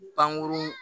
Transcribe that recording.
Pankurun